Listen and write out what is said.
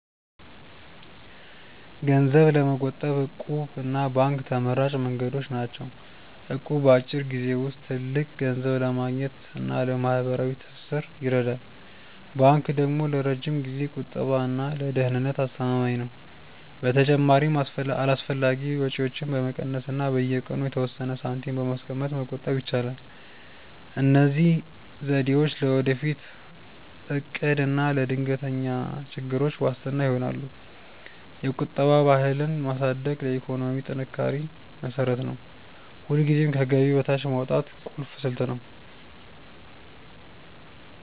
ገንዘብ ለመቆጠብ 'እቁብ' እና ባንክ ተመራጭ መንገዶች ናቸው። እቁብ በአጭር ጊዜ ውስጥ ትልቅ ገንዘብ ለማግኘት እና ለማህበራዊ ትስስር ይረዳል። ባንክ ደግሞ ለረጅም ጊዜ ቁጠባ እና ለደህንነት አስተማማኝ ነው። በተጨማሪም አላስፈላጊ ወጪዎችን በመቀነስ እና በየቀኑ የተወሰነ ሳንቲም በማስቀመጥ መቆጠብ ይቻላል። እነዚህ ዘዴዎች ለወደፊት እቅድ እና ለድንገተኛ ችግሮች ዋስትና ይሆናሉ። የቁጠባ ባህልን ማሳደግ ለኢኮኖሚ ጥንካሬ መሰረት ነው። ሁልጊዜም ከገቢ በታች ማውጣት ቁልፍ ስልት ነው።